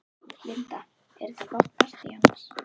Linda: Er þetta gott partý annars?